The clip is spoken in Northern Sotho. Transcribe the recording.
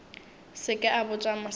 se ke a botša mosadi